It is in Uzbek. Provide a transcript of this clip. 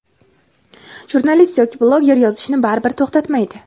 jurnalist yoki bloger yozishni baribir to‘xtatmaydi.